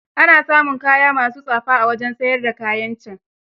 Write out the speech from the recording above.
Ana samun kaya ma su tsafa a wajen siyar da kayan can.